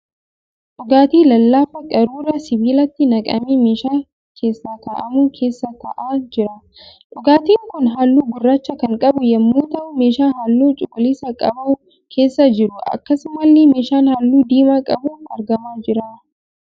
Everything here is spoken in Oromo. Dhugaatii lallaafaa qaruuraa sibiilaatti naqamee meeshaa keessa ka'aamu keessa ta'aa jira. dhugaatiin kun halluu gurraacha kan qabu yemmuu ta'u meeshaa halluu cuquliisa qabu keessa jira. Akkasumallee meeshaan halluu diimaa qabu argamaa jira.